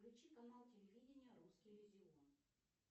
включи канал телевидения русский иллюзион